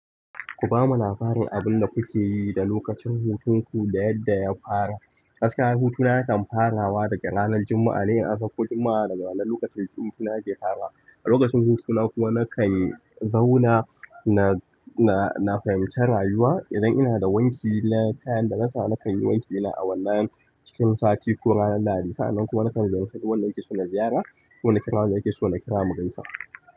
Ku bamu labarin abin da kuke yi da lokacin hutun ku da yadda ya fara. Gaskiya hutuna na kan farawa daga ranar Juma'a ne, in an sauko Juma'a daga wannan lokacin hutuna yake farawa. A lokacin hutuna kuma nakan zauna na fahimci rayuwa idan ina da wanki na kayan da na sa nakan yi wanki ina awannan cikin sati ko ranar Lahadi. Sa'annan kuma nakan ziyarci wanda nake so na ziyara ko na kira wanda nake so na kira mu gaisa.